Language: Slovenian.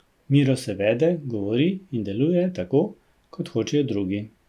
Miro se vede, govori in deluje tako, kot hočejo drugi.